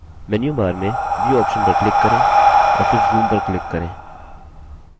menu bar में view option पर click करें और फिर zoom पर click करें